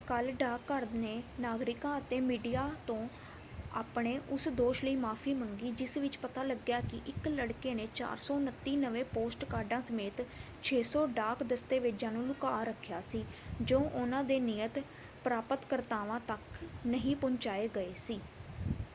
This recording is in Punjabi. ਕੱਲ੍ਹ ਡਾਕਘਰ ਨੇ ਨਾਗਰਿਕਾਂ ਅਤੇ ਮੀਡੀਆ ਤੋਂ ਆਪਣੇ ਉਸ ਦੋਸ਼ ਲਈ ਮਾਫ਼ੀ ਮੰਗੀ ਜਿਸ ਵਿੱਚ ਪਤਾ ਲੱਗਿਆ ਕਿ ਇੱਕ ਲੜਕੇ ਨੇ 429 ਨਵੇਂ ਪੋਸਟਕਾਰਡਾਂ ਸਮੇਤ 600 ਡਾਕ ਦਸਤਾਵੇਜ਼ਾਂ ਨੂੰ ਲੁਕਾ ਰੱਖਿਆ ਸੀ ਜੋ ਉਹਨਾਂ ਦੇ ਨਿਯਤ ਪ੍ਰਾਪਤਕਰਤਾਵਾਂ ਤੱਕ ਨਹੀਂ ਪਹੁੰਚਾਏ ਗਏ ਸੀ।